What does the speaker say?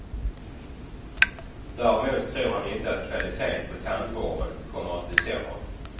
Däremot tror han inte att kvaliteten på tandvården kommer att bli sämre.